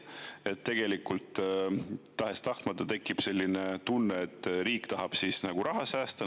Et tegelikult tahes-tahtmata tekib selline tunne, et riik tahab raha säästa.